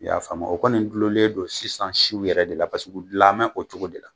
I y'a faamu a o kɔni gulolen don sisan siw yɛrɛ de la pasek'u gilanbɛ o cogo de la